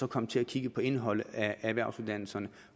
komme til at kigge på indholdet af erhvervsuddannelserne